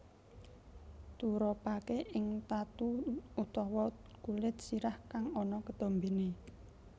Turapaké ing tatu utawa kulit sirah kang ana ketombené